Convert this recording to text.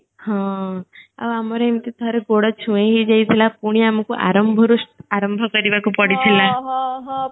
ହଁ ଆଉ ଆମର ଏମିତି ଥରେ ଗୋଡ ଛୁଇଁ ହେଇଯାଇଥିଲା ପୁଣି ଆମକୁ ଆରମ୍ଭ ରୁ ସ୍ ଆରମ୍ଭ କରିବାକୁ ପଡିଥିଲା